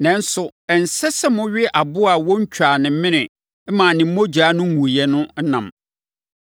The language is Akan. “Nanso, ɛnsɛ sɛ mowe aboa a wɔntwaa ne mene mmaa ne mogya no nguiɛ no ɛnam.